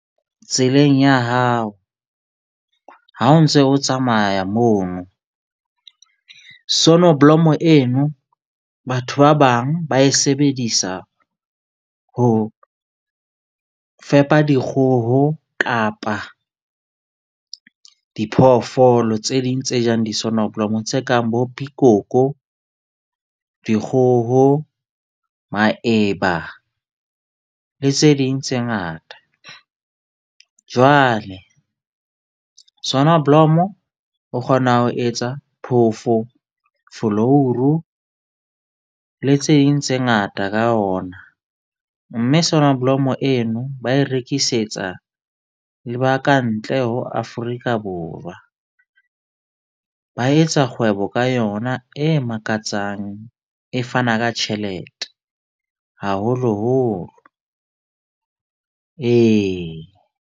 Tseleng ya hao ha o ntse o tsamaya mono. Sonoblomo eno, batho ba bang ba e sebedisa ho fepa dikgoho kapa diphoofolo tse ding tse jang di sonoblomo tse kang bo pikoko, dikgoho, maeba le tse ding tse ngata. Jwale sonneblom o kgona ho etsa phofo, folouru le tse ding tse ngata ka ona. Mme sonoblomo eno ba e rekisetsa le ba kantle ho Afrika Borwa. Ba etsa kgwebo ka yona e makatsang. E fana ka tjhelete haholoholo ee.